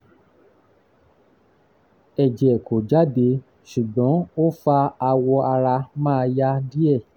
ẹ̀jẹ̀ kò jáde ṣùgbọ́n ó fa awọ ara ma ya díẹ̀